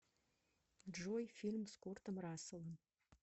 джой фильм с куртом расселом